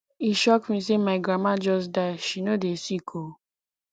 e shock me sey my grandmama just die she no dey sick o